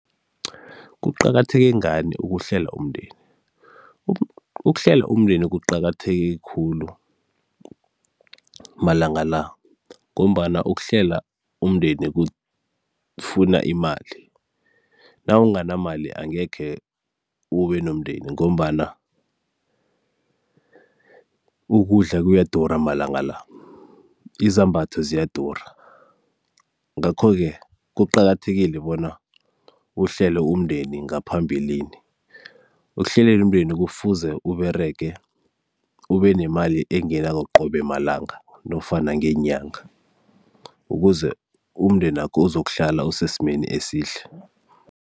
Kuqakatheke ngani ukuhlela umndeni? Ukuhlela umndeni kuqakatheke khulu malanga la ngombana ukuhlela umndeni kufuna imali, nawunganamali angekhe ube nomndeni ngombana ukudla kuyadura malanga la, izambatho ziyadura, ngakho-ke kuqakathekile bona uhlele umndeni ngaphambilini. Ekuhleleni umndeni kufuze Uberege ube nemali engenako qobe malanga nofana ngenyanga ukuze umndeni wakho uzokuhlala usesimeni esihle.